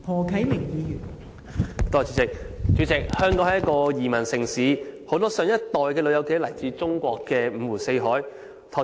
代理主席，香港是一個移民城市，很多上一代的長者皆來自中國各地。